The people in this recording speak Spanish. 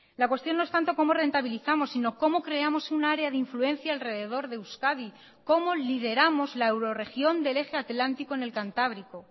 la cuestión no es tanto como rentabilizamos sino como creamos un área de influencia alrededor de euskadi como lideramos la euroregión del eje atlántico en el cantábrico